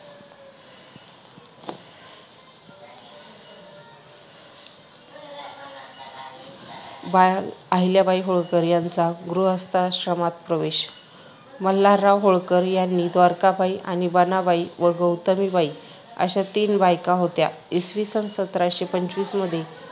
बाल, अहिल्याबाई होळकर यांचा गृहस्थाश्रमात प्रवेश मल्हारराव होळकर यांनी द्वारकाबाई आणि बनाबाई व गौतमीबाई अशा तीन बायका होत्या. इसवीसन सतराशे पंचवीस मधे